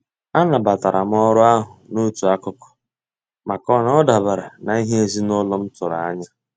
A nabatara m orụ ahụ n'otu akụkụ, maka na ọ dabara n'ihe ezinaụlọ m tụrụ anya.